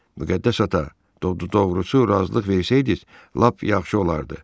Müqəddəs ata, d-d-doğrusu, razılıq versəydiz lap yaxşı olardı.